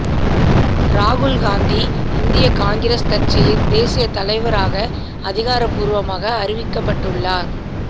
ராகுல் காந்தி இந்திய காங்கிரஸ் கட்சியின் தேசியத் தலைவராக அதிகாரப்பூர்வமாக அறிவிக்கப்பட்டுள்ளார்